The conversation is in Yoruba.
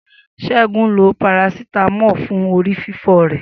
Segun lo Parasítámọ̀ fún orí fífọ́ rẹ̀